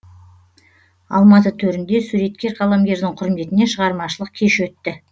алматы төрінде суреткер қаламгердің құрметіне шығармашылық кеш өтті